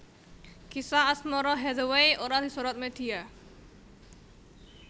Kisah asmara Hathaway ora disorot media